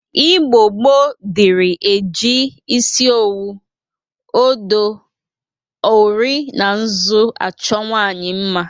Igbo gboo dịri e ji isi owu, odo, ori na nzụ achọ nwaanyị mma.